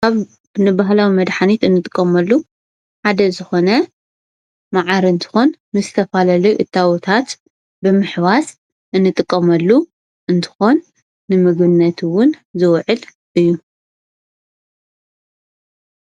ንባህላዊ መድሐኒት እንጥቀመሉ ሓደ ዝኾነ መዓር እንትኾን ምስ ዝተፈላለዩ እታወታት ብምሕዋስ እንጥቀመሉ እንትኾን ንምግብነት እውን ዝውዕል እዩ፡፡